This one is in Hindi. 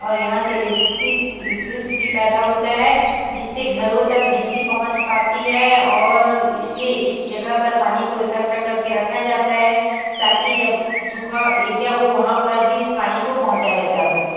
और यहा से एलेकटी-- इलेक्ट्रिसिटी पैदा होता है जिससे घरों तक बिजली पहुच पाती हैं और इसलिए इस जगह को पानी को एकत्र करके रखा जाता हैं ताकि जब सूखा एरिया हो वहाँ पर भी इस पानी को पहुचाया जा सके--